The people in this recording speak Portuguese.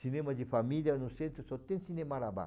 Cinema de família no centro só tem cine marabá.